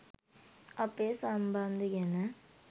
අපේ සම්බන්දෙ ගැන